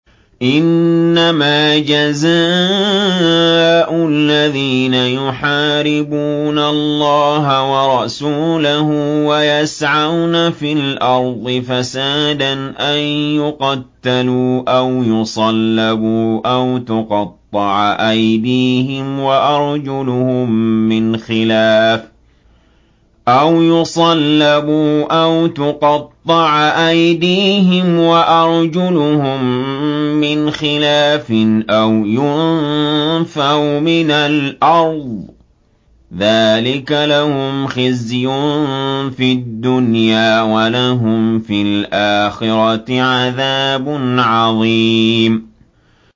إِنَّمَا جَزَاءُ الَّذِينَ يُحَارِبُونَ اللَّهَ وَرَسُولَهُ وَيَسْعَوْنَ فِي الْأَرْضِ فَسَادًا أَن يُقَتَّلُوا أَوْ يُصَلَّبُوا أَوْ تُقَطَّعَ أَيْدِيهِمْ وَأَرْجُلُهُم مِّنْ خِلَافٍ أَوْ يُنفَوْا مِنَ الْأَرْضِ ۚ ذَٰلِكَ لَهُمْ خِزْيٌ فِي الدُّنْيَا ۖ وَلَهُمْ فِي الْآخِرَةِ عَذَابٌ عَظِيمٌ